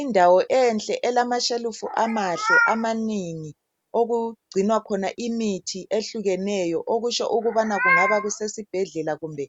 Indawo enhle elamashelufu amahle amanengi okugcinwa khona imithi ehlukeneyo okutsho ukubana kungaba kusesibhedlela kumbe